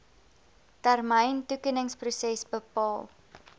termyn toekenningsproses bepaal